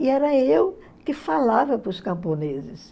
E era eu que falava para os camponeses.